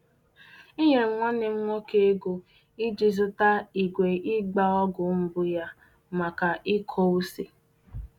Enyere m nwanne m nwoke ego iji zụta igwe ịgba ọgwụ mbụ ya maka ịkọ ose.